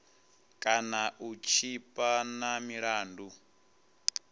kana u tshipa na milandu